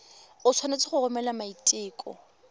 o tshwanetse go romela maiteko